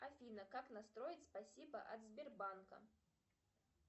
афина как настроить спасибо от сбербанка